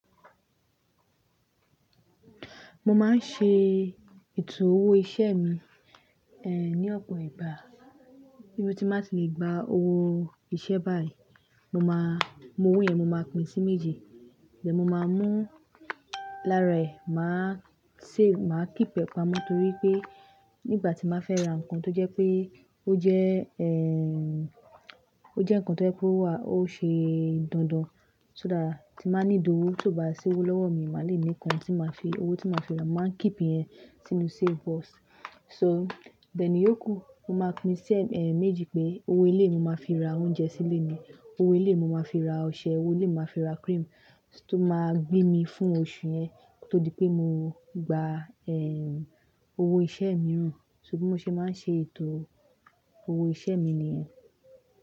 Mo máa ń ṣe ètò owó iṣẹ́ mi, ní ọ̀pọ̀ ìgbà. Ibi tí n ba tì le gba owó iṣẹ́ báyìí, mo máa, mu owó yẹn mo máa pín sí méje. Then mo máa mú lára ẹ̀, màá save, màá keep ẹ́ pamọ́ torí pé nígbà tí n ba fẹ́ ra nǹkan tó jẹ́ pé ó jẹ́, ẹ́ẹ́, ó jẹ́ nǹkan tó ẹ́ pé o wà, ó ṣe dandan, só dá tí màá need owó tó bá si owó lọ́wọ́ mi, màá le ní nǹkan tí màá fi, owó tí màá fi ra, màá keep yẹn sínú safe box. So then ìyókù, mo máa pín sí, e, méjì pé owó eléyìí ni màá fi ra oúnjẹ sí ilé ni, owó eléyìí mo màá fi ra ọṣẹ, owó eléyìí màá fi ra cream tó máa gbé mi fún oṣù yẹn koto di pé mo gba, ẹ́ẹ́, owó iṣẹ́ mìíràn. So bí mo ṣe máa ń ṣe ètò owó iṣẹ́ mi ni yẹn.